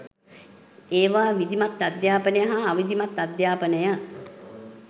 ඒවා විධිමත්අධ්‍යාපනය හා අවිධිමත් අධ්‍යාපනය